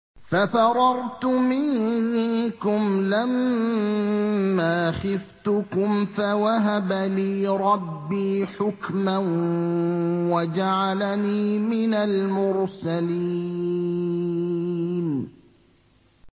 فَفَرَرْتُ مِنكُمْ لَمَّا خِفْتُكُمْ فَوَهَبَ لِي رَبِّي حُكْمًا وَجَعَلَنِي مِنَ الْمُرْسَلِينَ